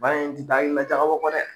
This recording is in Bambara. Ba in ti da ɲina jagabɔ kɔ dɛ